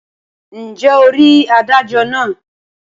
ǹjẹ́ o rí adájọ náà?